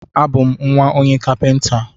A bú m nwa onye kapinta